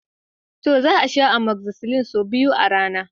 To! Za a sha amoxicillin sau biyu a rana.